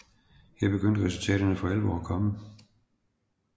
Her begyndte resultaterne for alvor at komme